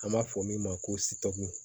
An b'a fɔ min ma ko